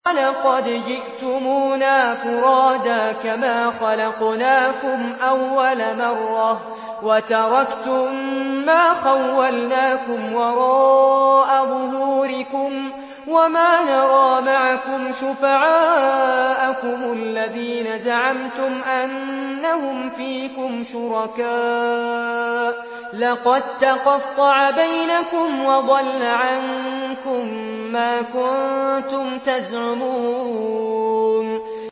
وَلَقَدْ جِئْتُمُونَا فُرَادَىٰ كَمَا خَلَقْنَاكُمْ أَوَّلَ مَرَّةٍ وَتَرَكْتُم مَّا خَوَّلْنَاكُمْ وَرَاءَ ظُهُورِكُمْ ۖ وَمَا نَرَىٰ مَعَكُمْ شُفَعَاءَكُمُ الَّذِينَ زَعَمْتُمْ أَنَّهُمْ فِيكُمْ شُرَكَاءُ ۚ لَقَد تَّقَطَّعَ بَيْنَكُمْ وَضَلَّ عَنكُم مَّا كُنتُمْ تَزْعُمُونَ